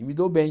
E me dou bem.